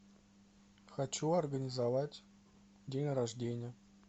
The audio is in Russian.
хочу организовать день рождения